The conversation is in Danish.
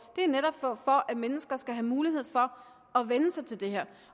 det er netop for at mennesker skal have mulighed for at vænne sig til det her